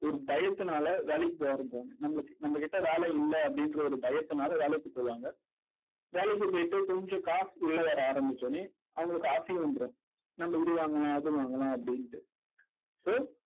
ஒரு பயத்தினால வேலைக்கு போக ஆரம்பிப்பாங்க. நம்மளு நம்ம கிட்ட வேலை இல்லை அப்படின்ற ஒரு பயத்தினால வேலைக்கு போவாங்க. வேலைக்கு போயிட்டு கொஞ்சம் காசு உள்ள வர ஆரம்பிச்சவுடனே அவங்களுக்கு ஆசையும் வந்துரும் நாம இது வாங்கலாம் அது வாங்கலாம் அப்படின்னுட்டு so